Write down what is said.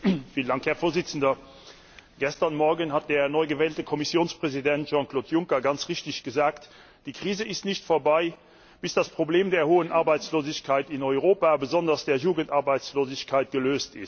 Herr Präsident! Gestern Morgen hat der neu gewählte Kommissionspräsident Jean Claude Juncker ganz richtig gesagt Die Krise ist nicht vorbei, bis das Problem der hohen Arbeitslosigkeit in Europa besonders der Jugendarbeitslosigkeit gelöst ist.